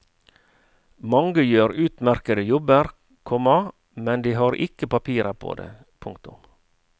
Mange gjør utmerkede jobber, komma men de har ikke papirer på det. punktum